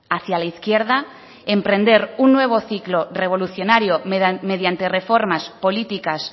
hacia la izquierda emprender un nuevo ciclo revolucionario mediante reformas políticas